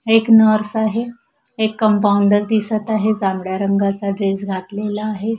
एक नर्स आहे एक कंपाउंडर दिसत आहे जांभळ्या रंगाचा ड्रेस घातलेला आहे.